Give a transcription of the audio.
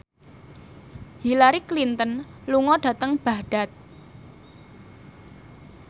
Hillary Clinton lunga dhateng Baghdad